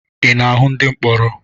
Ị na-ahụ ndị mkpọrọ?